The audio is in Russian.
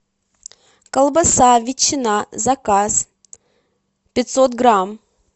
колбаса ветчина заказ пятьсот грамм